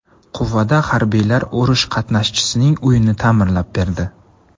Quvada harbiylar urush qatnashchisining uyini ta’mirlab berdi.